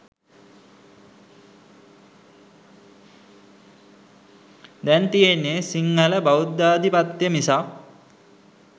දැන් තියෙන්නේ සිංහල බෞද්ධාධිපත්‍ය මිසක්